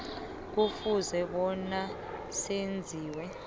kufuze bona zenziwe